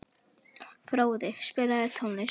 Fróði, spilaðu tónlist.